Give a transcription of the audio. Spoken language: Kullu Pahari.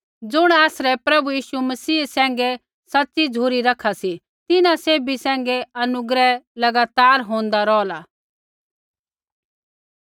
ज़ुण आसरै प्रभु यीशु मसीह सैंघै सच़ी झ़ुरी रखा सी तिन्हां सैभी सैंघै अनुग्रह लगातार होन्दा रौहला